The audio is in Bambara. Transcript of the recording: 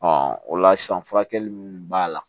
o la san furakɛli mun b'a la